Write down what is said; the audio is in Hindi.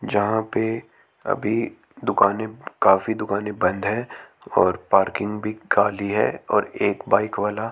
जहां पे अभी दुकाने काफी दुकाने बंद है और पार्किंग भी खाली है और एक बाइक वाला--